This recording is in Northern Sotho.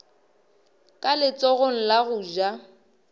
ka letsogong la go ja